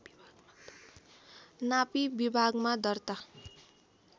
नापी विभागमा दर्ता